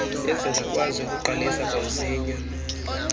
ezingakwazi ukuqalisa kamsinyane